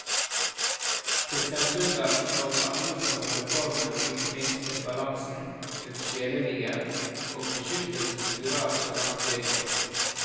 Kristiansunderen og de andre skal holde formen og ikke minst balansen, den sjelelige, og beskyttes mot virak så langt det går.